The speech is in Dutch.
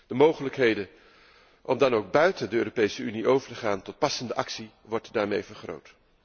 De mogelijkheden om dan ook buiten de Europese Unie over te gaan tot passende actie worden daarmee vergroot.